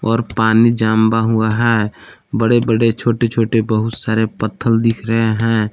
और पानी जांबा हुआ है बड़े बड़े छोटे छोटे बहुत सारे पत्थल दिख रहे हैं।